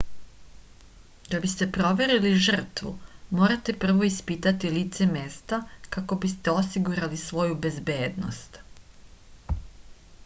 da biste proverili žrtvu morate prvo ispitati lice mesta kako biste osigurali svoju bezbednost